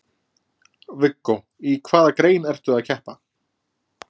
Viggó: Í hvaða grein ertu að keppa?